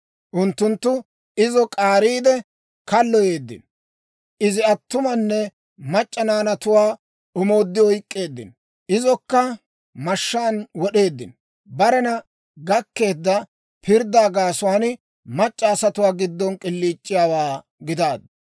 Unttunttu izo k'aariide kalloyeeddino; izi attumanne mac'c'a naanatuwaa omooddi oyk'k'eeddino; izokka mashshaan wod'eeddino. Barena gakkeedda pirddaa gaasuwaan, mac'c'a asatuwaa giddon k'iliic'iyaawaa gidaaddu.